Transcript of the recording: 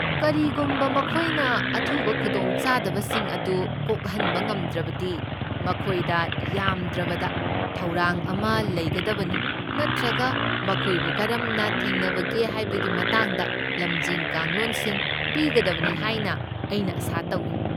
ꯀꯔꯤꯒꯨꯝꯕ ꯃꯈꯣꯏꯅ ꯑꯊꯨꯕ ꯈꯨꯗꯣꯡꯆꯥꯗꯕꯁꯤꯡ ꯑꯗꯨ ꯀꯣꯛꯍꯟꯕ ꯉꯝꯗ꯭ꯔꯕꯗꯤ, ꯃꯈꯣꯏꯗ ꯌꯥꯝꯗ꯭ꯔꯕꯗ ꯊꯧꯔꯥꯡ ꯑꯃ ꯂꯩꯒꯗꯕꯅꯤ ꯅꯠꯇ꯭ꯔꯒ ꯃꯈꯣꯏꯕꯨ ꯀꯔꯝꯅ ꯊꯦꯡꯅꯕꯒꯦ ꯍꯥꯏꯕꯒꯤ ꯃꯇꯥꯡꯗ ꯂꯝꯖꯤꯡ ꯀꯥꯡꯂꯣꯟꯁꯤꯡ ꯄꯤꯒꯗꯕꯅꯤ ꯍꯥꯏꯅ ꯑꯩꯅ ꯑꯥꯁꯥ ꯇꯧꯏ꯫